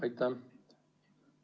Aitäh!